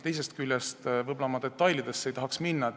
Teisest küljest ei tahaks ma detailidesse minna.